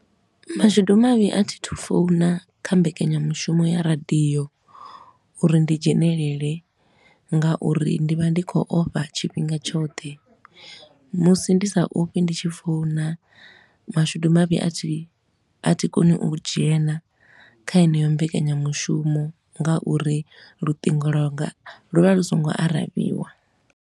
Mashudu mavhi a thi thu founa kha mbekanyamushumo ya radio uri ndi dzhenelele nga uri ndi vha ndi khou ofha tshifhinga tshoṱhe. Musi ndi sa ofhi ndi tshi founa, mashudu mavhi a thi koni u dzhena kha heneyo mbekanyamushumo nga uri lutingo lwanga lu vha lu so ngo aravhiwa.